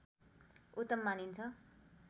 उत्तम मानिन्छ